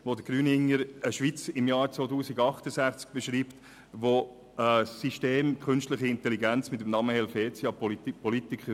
Er beschreibt darin einen Schweizer im Jahr 2068, der die Politiker mit einem künstlich intelligenten System namens «Helvetia» ersetzt hat.